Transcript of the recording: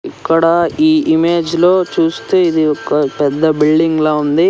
ఇక్కడ ఈ ఇమేజ్ లో చూస్తే ఇది ఒక పెద్ద బిల్డింగ్ లా ఉంది.